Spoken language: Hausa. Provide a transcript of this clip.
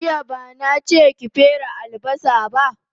Jiya bana che ki fere albasa ba